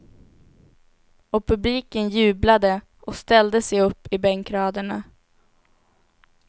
Och publiken jublade och ställde sig upp i bänkraderna.